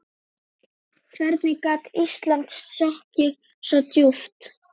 Hvernig gat Ísland sokkið svo djúpt?